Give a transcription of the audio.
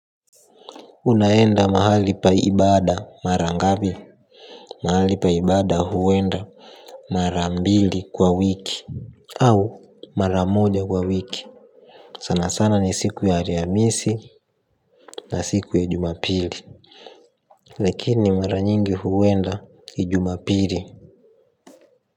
Unaenda mahali pa ibada mara ngapi. Mahali pa ibada huenda mara mbili kwa wiki. Au mara moja kwa wiki. Sana sana ni siku ya ariamisi na siku ya jumapili. Lakini mara nyingi huenda ijumapili.